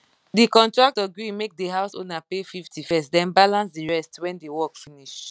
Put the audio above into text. the contractor gree make the house owner pay 50 first then balance the rest when the work finish